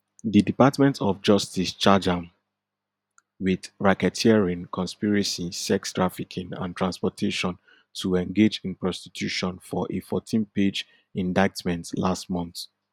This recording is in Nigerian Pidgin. di department of justice charge am wit racketeering conspiracy sex trafficking and transportation to engage in prostitution for a fourteenpage indictment last month